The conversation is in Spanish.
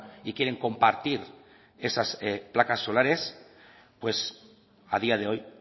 y quieren compartir esas placas solares pues a día de hoy